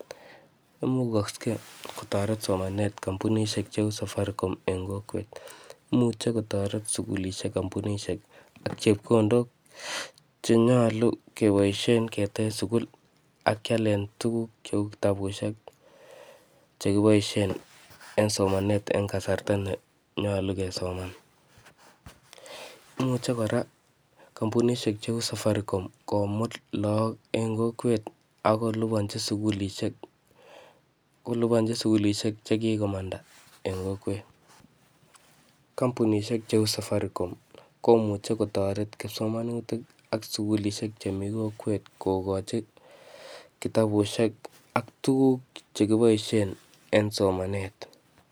Imugakse kotoret somanet kampunishek cheu safaricom en kokwet. Imuche kotoret sukulishek, kampunishek ak chepkondok che nyolu keboisien ketej sukul akialen tuguk cheu kitabusiek che kiboisie en somanet en kasarta ne nyolu kesoman. Imuche kora kampunishek cheu safaricom komut lagok en kokwet akolipanchi sukulishek, kolipanchi sukulishek che kikomanda en kokwet. Kampunishek cheu safaricom komuche kotoret kipsomanutik ak sukulishek che mii kokwet kokochi kitabusiek ak tuguk che kiboisie en somanet.